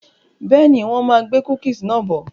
Bẹ́ẹ̀ni, wọn máa gbé "cookies" náà bọ̀.